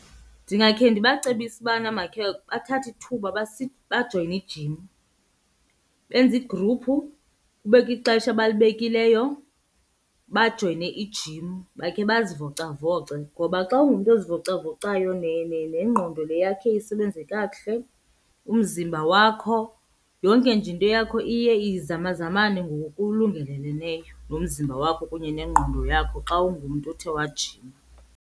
Ndingakhe ndibacebise ubana makhe bathathe ithuba bajoyine ijim. Benze igruphu kubekho ixesha abalibekileyo bajoyine ijim bakhe bazivocavoce. Ngoba xa ungumntu ozivocavocayo nengqondo le yakho iye isebenze kakuhle, umzimba wakho, yonke nje into yakho iye izamazamane ngokulungeleleneyo nomzimba wakho kunye nengqondo yakho xa ungumntu othe wajima.